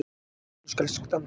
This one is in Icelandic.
Þátturinn skal standa